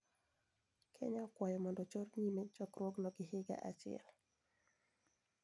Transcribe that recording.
Kenya okwayo mondo ochor nyime chokruogno gi higa achiel.